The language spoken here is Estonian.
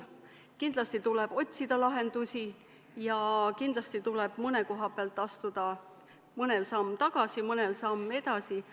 Kindlasti tuleb otsida lahendusi ja kindlasti tuleb mõne koha pealt astuda mõnel samm tagasi, mõnel samm edasi.